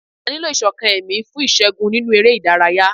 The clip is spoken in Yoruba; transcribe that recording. A ní lò Ìṣọ̀kan ẹ̀mí fún ìṣẹ́gun nínú eré ìdárayá.